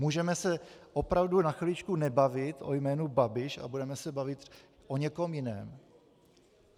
Můžeme se opravdu na chviličku nebavit o jménu Babiš a budeme se bavit o někom jiném?